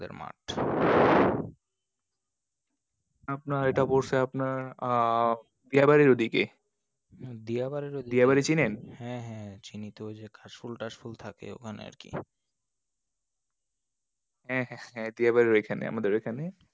আপনার এটা পড়ছে আপনার আহ দিয়াবাড়ির ওদিকে। হ্যাঁ দিয়াবাড়ি, দিয়াবাড়ি চিনেন? হ্যাঁ হ্যাঁ চিনি তো, ওই যে কাশফুল টাশফুল থাকে ওখানে আর কি। হ্যাঁ হ্যাঁ দিয়াবাড়ি ঐখানে। আমাদের ওইখানে।